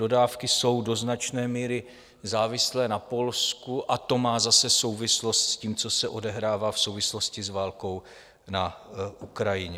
Dodávky jsou do značné míry závislé na Polsku a to má zase souvislost s tím, co se odehrává v souvislosti s válkou na Ukrajině.